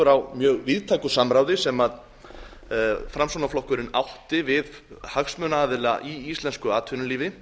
á mjög víðtæku samráði sem framsóknarflokkurinn átti við hagsmunaaðila í íslensku atvinnulífi